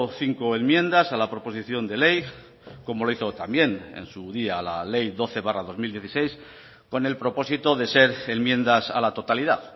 cinco enmiendas a la proposición de ley como lo hizo también en su día la ley doce barra dos mil dieciséis con el propósito de ser enmiendas a la totalidad